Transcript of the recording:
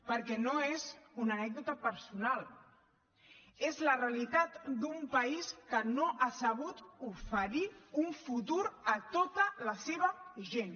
perquè no és una anècdota personal és la realitat d’un país que no ha sabut oferir un futur a tota la seva gent